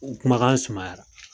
U kumakan sumayara.